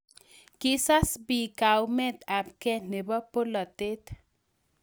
Kisas biik kaumet ab gei nebo polatet